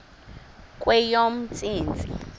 kweyomntsintsi